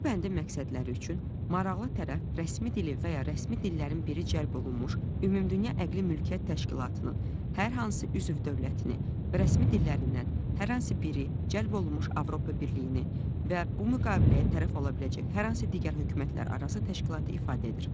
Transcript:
Bu bəndin məqsədləri üçün maraqlı tərəf rəsmi dili və ya rəsmi dillərin biri cəlb olunmuş Ümumdünya Əqli Mülkiyyət Təşkilatının hər hansı üzv dövlətini və rəsmi dillərindən hər hansı biri cəlb olunmuş Avropa Birliyini və bu müqaviləyə tərəf ola biləcək hər hansı digər hökumətlərarası təşkilatı ifadə edir.